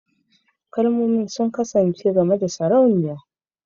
Kalmomin sun kasance game da Sarauniya